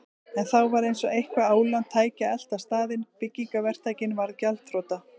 En þá var eins og eitthvert ólán tæki að elta staðinn: Byggingaverktakinn varð gjaldþrota.